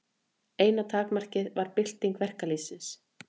Eina takmarkið var bylting verkalýðsins.